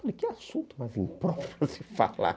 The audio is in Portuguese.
Falei, que assunto mais impróprio para se falar